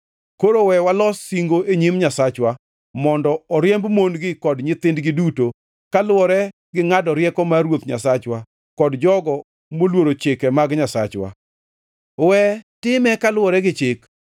Koro we walos singo e nyim Nyasachwa mondo oriemb mon-gi kod nyithindgi duto, kaluwore gi ngʼado rieko mar Ruoth Nyasachwa kod jogo moluoro chike mag Nyasachwa. We time kaluwore gi Chik.